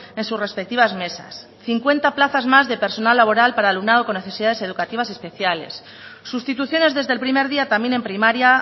en sus respectivas mesas cincuenta plazas más de personal laboral para alumnado con necesidades educativas especiales sustituciones desde el primer día también en primaria